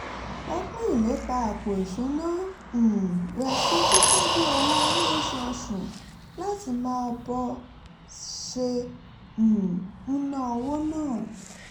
ó pín ìlépa àpò ìṣúnná um rẹ̀ sí títọ́jú owó lóṣooṣù láti mọ bó ṣe um ń ná owó